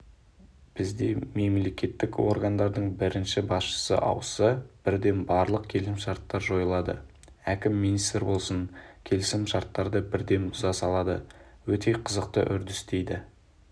бізде мемлекеттік органдардың бірінші басшысы ауысса бірден барлық келісімшарттар жойылады әкім министр болсын келісімшарттарды бірден бұза салады өте қызықты үрдіс дейді